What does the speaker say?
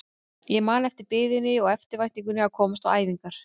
Ég man eftir biðinni og eftirvæntingunni að komast á æfingar.